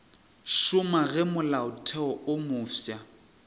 šoma ge molaotheo wo mofsa